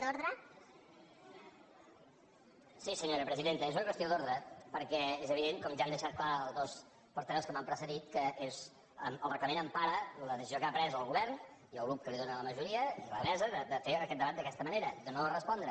sí senyora presidenta és una qüestió d’ordre perquè és evident com ja han deixat clar els dos portaveus que m’han precedit que el reglament empara la decisió que han pres el govern i el grup que li dóna la majoria i la mesa de fer aquest debat d’aquesta manera de no respondre